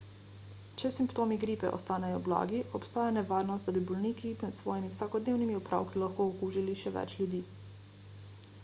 če simptomi gripe ostanejo blagi obstaja nevarnost da bi bolniki med svojimi vsakodnevnimi opravki lahko okužili še več ljudi